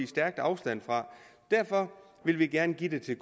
stærkt afstand fra derfor vil vi gerne give det til